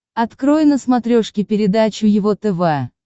открой на смотрешке передачу его тв